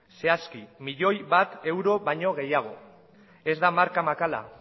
zehazki bat milioi euro baino gehiago ez da marka makala